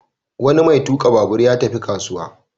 Wani mai tuƙa babur ya tafi kasuwa.